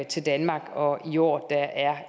til danmark og i år